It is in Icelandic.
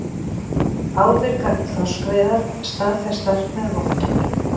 Ábyrgar þorskveiðar staðfestar með vottun